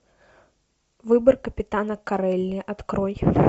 выбор капитана корелли открой